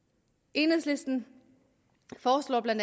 enhedslisten foreslår bla